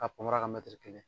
K'a panparan kɛ kelen